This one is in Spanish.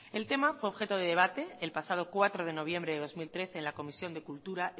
el tema fue objeto de debate el pasado cuatro de noviembre de dos mil trece en la comisión de cultura